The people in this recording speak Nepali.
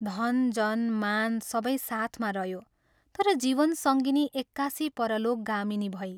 धन, जन, मान, सबै साथमा रह्यो तर जीवन सङ्गिनी एक्कासि परलोकगामिनी भई।